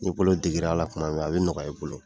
N'i bolo degera a la tuma min a bɛ nɔgɔya i bolo.